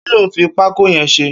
Kiló n fi pákó yẹ̀n ṣé?